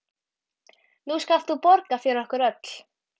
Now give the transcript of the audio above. Nú skalt þú borga fyrir okkur öll.